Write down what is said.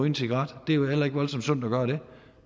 en cigaret det er heller ikke voldsomt sundt at gøre det